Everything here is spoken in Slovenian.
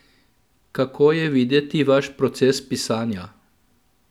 Kako je videti vaš proces pisanja?